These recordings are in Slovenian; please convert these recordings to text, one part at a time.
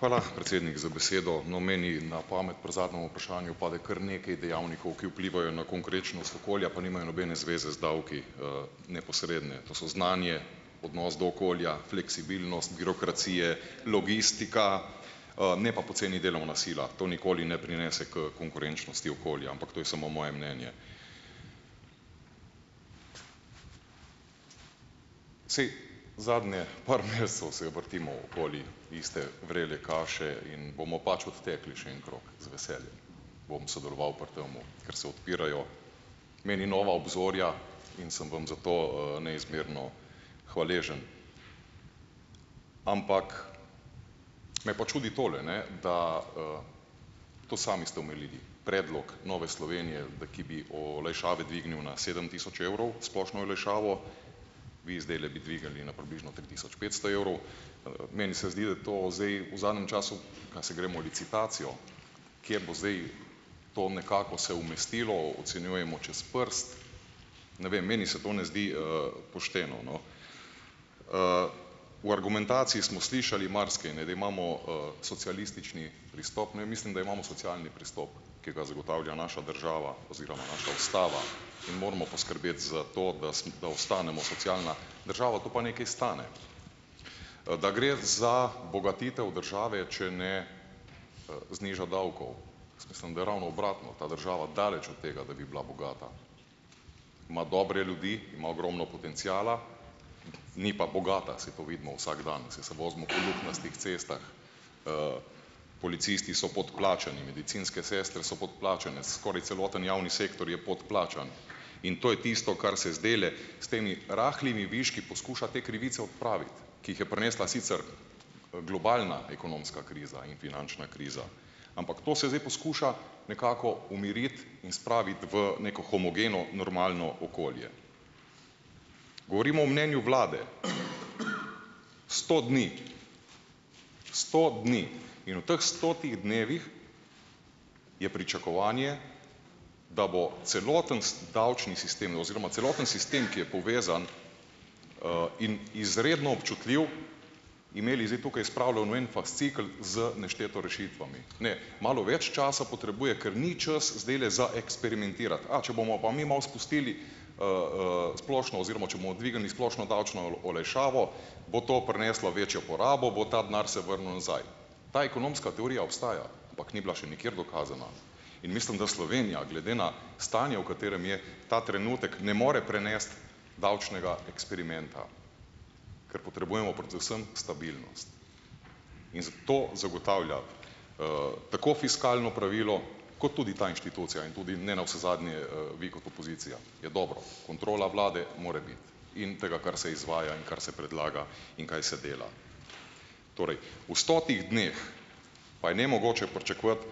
Hvala, predsednik za besedo. No, meni na pamet pri zadnjem vprašanju pade kar nekaj dejavnikov, ki vplivajo na konkurenčnost okolja, pa nimajo nobene zveze z davki neposredne, to so znanje, odnos do okolja, fleksibilnost, birokracije, logistika, ne pa poceni delovna sila. To nikoli ne prinese h konkurenčnosti okolja, ampak to je samo moje mnenje. Saj, zadnje par mesecev se vrtimo okoli iste vrele kaše in bomo pač odtekli še en krog, z veseljem bom sodeloval pri tem, ker se odpirajo meni nova obzorja in sem vam za to, neizmerno hvaležen. Ampak me pa čudi tole, ne, da, to sami ste omenili, predlog Nove Slovenije, da ki bi olajšave dvignil na sedem tisoč evrov, splošno olajšavo, vi zdajle bi dvignili na približno tri tisoč petsto evrov. Meni se zdi, da to zdaj v zadnjem času, a se gremo licitacijo, kje bo zdaj to nekako se umestilo, ocenjujemo čez prst. Ne vem, meni se to ne zdi, pošteno, no. V argumentaciji smo slišali marsikaj, ne da imamo socialistični pristop. Ne, mislim da imamo socialni pristop, ki ga zagotavlja naša država oziroma naša ustava in moramo poskrbeti za to, da da ostanemo socialna država, to pa nekaj stane. Da gre za bogatitev države, če ne, zniža davkov. Jaz mislim, da je ravno obratno, ta država daleč od tega, da bi bila bogata, ima dobre ljudi, ima ogromno potenciala, ni pa bogata, saj to vidimo vsak dan, saj se vozimo po luknjastih cestah, policisti so podplačani, medicinske sestre so podplačane, skoraj celoten javni sektor je podplačan, in to je tisto, kar se zdajle s temi rahlimi viški poskuša te krivice odpraviti, ki jih je prinesla sicer globalna ekonomska kriza in finančna kriza, ampak to se zdaj poskuša nekako umiriti in spraviti v neko homogeno normalno okolje. Govorimo o mnenju vlade, sto dni. Sto dni. In v teh stotih dnevih je pričakovanje, da bo celoten s davčni sistem oziroma celoten sistem, ki je povezan in izredno občutljiv, imeli zdaj tukaj spravljeno v en fascikel z nešteto rešitvami. Ne, malo več časa potrebuje, ker ni čas zdajle za eksperimentirati. A če bomo pa mi malo spustili splošno oziroma če bomo dvignili splošno davčno olajšavo, bo to prineslo večjo porabo, bo ta denar se vrnil nazaj. Ta ekonomska teorija obstaja, ampak ni bila še nikjer dokazana. In mislim, da Slovenija glede na stanje, v katerem je, ta trenutek ne more prenesti davčnega eksperimenta, ker potrebujemo predvsem stabilnost. In zato zagotavlja tako fiskalno pravilo kot tudi ta inštitucija in tudi ne navsezadnje, vi kot opozicija, je dobro, kontrola vlade more biti, in tega, kar se izvaja in kar se predlaga in kaj se dela. Torej, v stotih dneh pa je nemogoče pričakovati,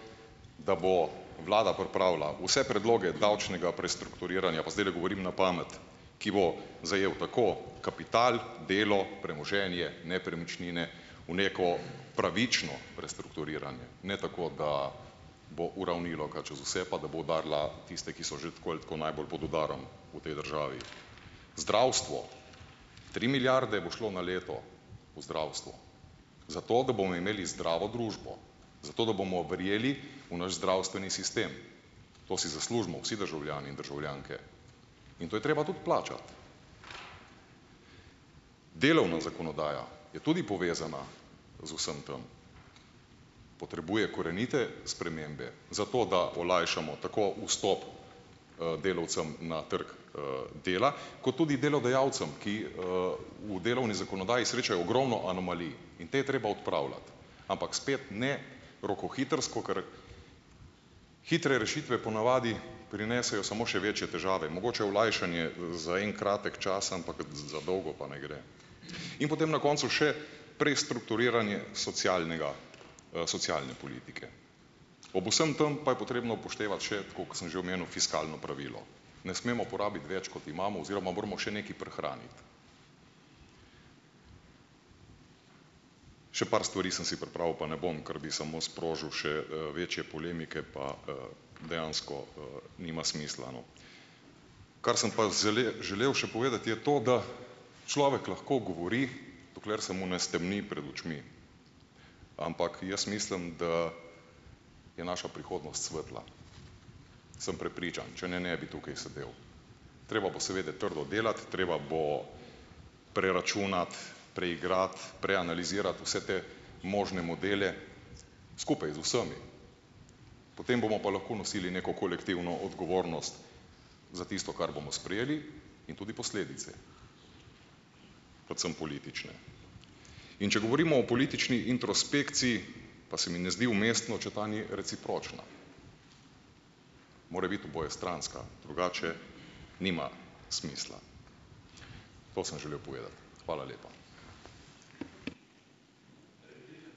da bo vlada pripravila vse predloge davčnega prestrukturiranja, pa zdajle govorim na pamet, ki bo zajel tako kapital, delo, premoženje, nepremičnine v neko pravično prestrukturiranje, ne tako, da bo uravnilovka čez vse, pa da bo udarila tiste, ki so že tako ali tako najbolj pod udarom v tej državi. Zdravstvo, tri milijarde bo šlo na leto v zdravstvo zato, da bomo imeli zdravo družbo, zato da bomo verjeli v naš zdravstveni sistem. To si zaslužimo vsi državljani in državljanke. In to je treba tudi plačati. Delovna zakonodaja je tudi povezana z vsem tem. Potrebuje korenite spremembe zato, da olajšamo tako vstop, delavcem na trg, dela, kot tudi delodajalcem, ki, v delovni zakonodaji srečajo ogromno anomalij in potem je treba odpravljati, ampak spet ne rokohitrsko, ker hitre rešitve ponavadi prinesejo samo še večje težave. Mogoče olajšanje, za en kratek čas, ampak za dolgo pa ne gre. In potem na koncu še prestrukturiranje socialnega, socialne politike. Ob vsem tem pa je potrebno upoštevati še, tako kot sem že omenil, fiskalno pravilo. Ne smemo porabiti več, kot imamo, oziroma moramo še nekaj prihraniti. Še par stvari sem si pripravil, pa ne bom, ker bi samo sprožil še, večje polemike, pa, dejansko, nima smisla, no. Kar sem pa želel še povedati je to, da človek lahko govori, dokler se mu ne stemni pred očmi. Ampak jaz mislim, da je naša prihodnost svetla. Sem prepričan, če ne ne bi tukaj sedel. Treba bo seveda trdo delati, treba bo preračunati, preigrati, preanalizirati vse te možne modele skupaj z vsemi, potem bomo pa lahko nosili neko kolektivno odgovornost za tisto, kar bomo sprejeli, in tudi posledice, predvsem politične. In če govorimo o politični introspekciji, pa se mi ne zdi umestno, če ta ni recipročna. Mora biti obojestranska, drugače nima smisla. To sem želel povedati. Hvala lepa.